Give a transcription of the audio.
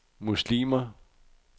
muslimer